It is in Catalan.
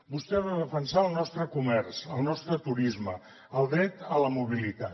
vostè ha de defensar el nostre comerç el nostre turisme el dret a la mobilitat